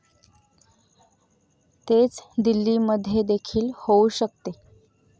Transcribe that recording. तेच दिल्लीमध्येदेखील होऊ शकते.